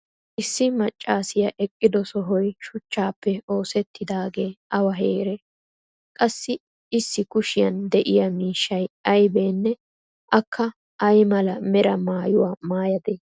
issi macaassiya eqqido sohoy shuchchaappe oosettidaagee awa heeree? qassi issi kushiyan diya miishsy aybeenne akka ay mala mera maayuwa maayadee?